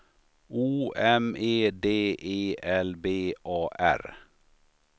O M E D E L B A R